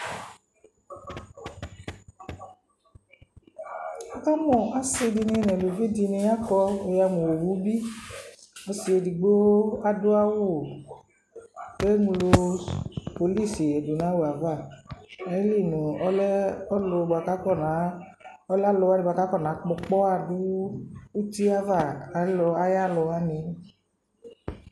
Wukamu ɔsi dini nu uluvi dini la ku wuyamu owu bi ɔsi edigbo adu awu ku eŋlo pɔlisi du nu awu yɛ ava ayili nu ɔlu yɛ ku akɔna kpɔ ɔkpɔwa du uti yɛ ava ayu aluwani